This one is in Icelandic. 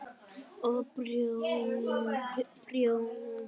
Og prjóna.